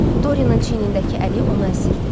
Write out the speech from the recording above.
Doryanın çiynindəki əli onu əzdirirdi.